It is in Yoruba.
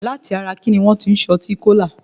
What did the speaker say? Láti ara kíní wọ́n ti ṣe ọtí Kólà?